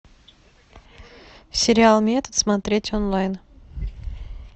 сериал метод смотреть онлайн